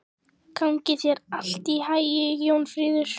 Gangi þér allt í haginn, Jónfríður.